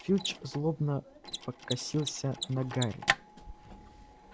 филч злобно покосился на гарри